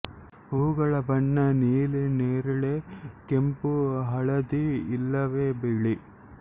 ಹೂಗಳ ಬಣ್ಣ ನೀಲಿ ನೇರಿಳೆ ಕೆಂಪು ಹಳದಿ ಇಲ್ಲವೆ ಬಿಳಿ